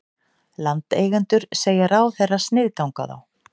Landeigendur segja ráðherra sniðganga þá